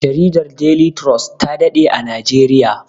Jaridar deli turos ta daɗe a najeriya